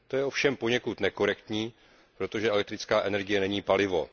To je ovšem poněkud nekorektní, protože elektrická energie není palivo.